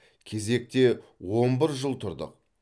кезекте он бір жыл тұрдық